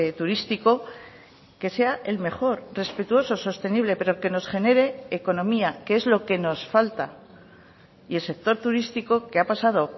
turístico que sea el mejor respetuoso sostenible pero que nos genere economía que es lo que nos falta y el sector turístico que ha pasado